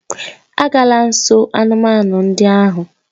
Agala nso anụmanụ ndị ahụ!